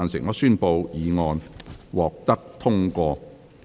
我宣布議案獲得通過。